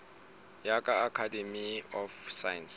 ya ka academy of science